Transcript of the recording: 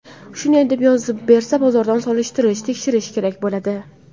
Shunday deb yozib bersa, bozordan solishtirish, tekshirish kerak bo‘ladi.